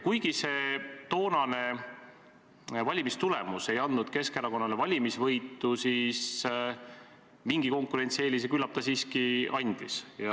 Kuigi see toonane valimistulemus ei andnud Keskerakonnale valimisvõitu, siis mingi konkurentsieelise see küllap siiski andis.